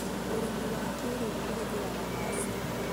ũrĩmi wa kĩĩrĩu ũhũthagĩra macinĩ.